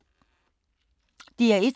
DR1